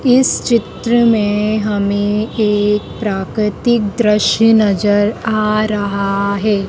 इस चित्र में हमें एक प्राकृतिक दृश्य नजर आ रहा है।